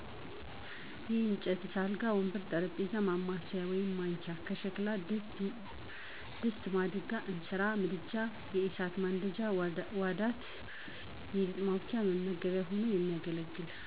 የእጨት ስ፦ አልጋ፣ ወንበር፣ ጠረጴዛ፣ ማማሰያ(ማንኪያ) ሸክላ፦ ድስት፣ ማድጋ(እንስራ)፣ምድጃ(የእሳት ማንደጃ) ዋዳት(የሊጥ ማቡኪያ፣ መመገቢያ ሆኖ የሚያገለግል)